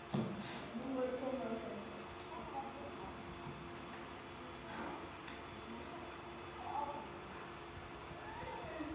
Nú væri komið að þeim.